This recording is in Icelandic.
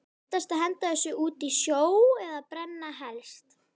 Réttast að henda þessu út í sjó eða brenna helst.